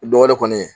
Dɔ wɛrɛ kɔni